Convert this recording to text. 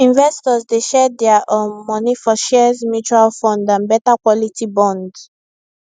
investors dey share dia um money for shares mutual fund and better quality bonds